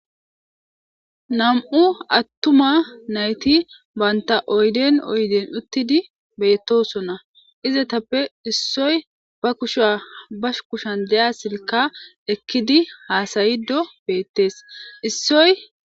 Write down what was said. Nam7u attuma nayti baynta oyden oyden uttidi beettosona izatappe issoy ba kushua bash kushan deya silka ekkidi haasayido beettees issoy.